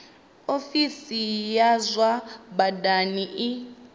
ofisi ya zwa badani i